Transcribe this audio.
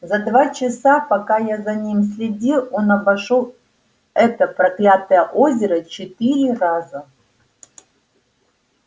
за два часа пока я за ним следил он обошёл это проклятое озеро четыре раза